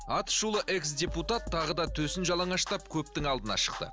аты шулы экс депутат тағы да төсін жалаңаштап көптің алдына шықты